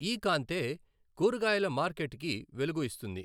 ఈ కాంతే కూరగాయల మార్కెట్‌కి వెలుగు ఇస్తుంది.